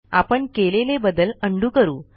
आपण केलेले बदल उंडो करा